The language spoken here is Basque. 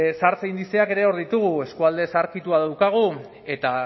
zahartze indizeak ere hor ditugu eskualde zaharkitua daukagu eta